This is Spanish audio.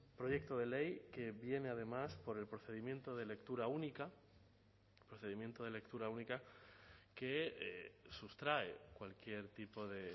proyecto de ley que viene además por el procedimiento de lectura única procedimiento de lectura única que sustrae cualquier tipo de